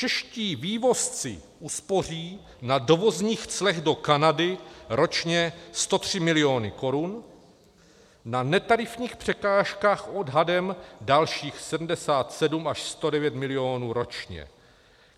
Čeští vývozci uspoří na dovozních clech do Kanady ročně 103 miliony korun, na netarifních překážkách odhadem dalších 77 až 109 milionů ročně.